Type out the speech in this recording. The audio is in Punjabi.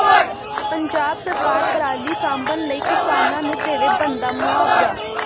ਪੰਜਾਬ ਸਰਕਾਰ ਪਰਾਲੀ ਸਾਂਭਣ ਲਈ ਕਿਸਾਨਾਂ ਨੂੰ ਦੇਵੇ ਬਣਦਾ ਮੁਆਵਜ਼ਾ